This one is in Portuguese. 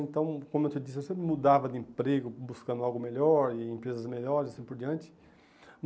Então, como eu te disse, eu sempre mudava de emprego, buscando algo melhor e empresas melhores e assim por diante.